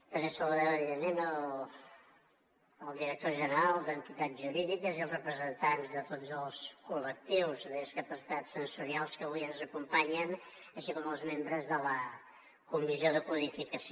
també saludem evidentment el director general d’entitats jurídiques i els representants de tots els col·lectius de discapacitats sensorials que avui ens acompanyen així com els membres de la comissió de codificació